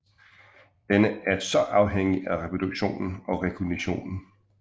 Denne er så også afhængig af reproduktionen og rekognitionen